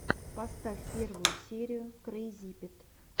поставь первую серию крэйзипит